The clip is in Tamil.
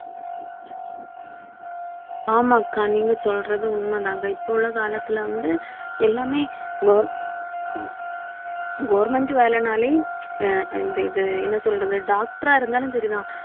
ஆமாக்கா, நீங்க சொல்றது உண்மைதாங்க. இப்ப உள்ள காலத்துல வந்து, எல்லாமே govern~ government வேலைனாலே அஹ் இந்த இது என்ன சொல்றது? doctor ஆ இருந்தாலும் சரிதான்.